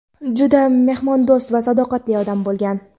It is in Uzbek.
juda mehmondo‘st va sadoqatli odam bo‘lgan.